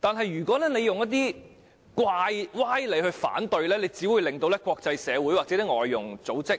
但如果大家以一些歪理提出反對，只會令國際社會或外傭組織